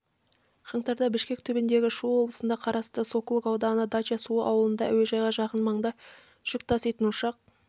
қаңтарда бішкек түбіндегі шу облысына қарасты сокулук ауданы дача-суу ауылында әуежайға жақын маңда жүк таситын ұшақ